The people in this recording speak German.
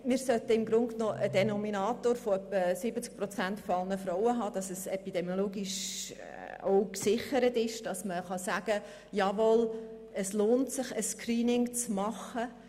Wir sollten im Grunde genommen einen Denominator von etwa 70 Prozent aller Frauen haben, damit es epidemiologisch gesichert ist und man sagen kann, dass es sich lohnt, ein Screening zu machen.